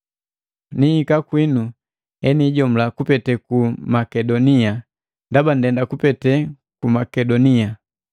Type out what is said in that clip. Nihika kwinu enijomula kupete ku Makedonia, ndaba ndenda kupete ku Makedonia.